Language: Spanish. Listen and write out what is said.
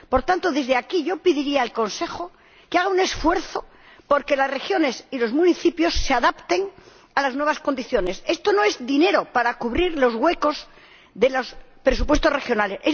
Por tanto, desde aquí, yo pediría al Consejo que haga un esfuerzo por que las regiones y los municipios se adapten a las nuevas condiciones. Esto no es dinero para cubrir los huecos de los presupuestos regionales